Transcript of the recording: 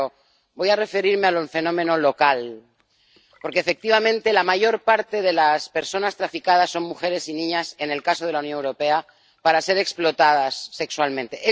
Pero voy a referirme al fenómeno local, porque, efectivamente, la mayor parte de las personas objeto de trata son mujeres y niñas —en el caso de la Unión Europea— para ser explotadas sexualmente.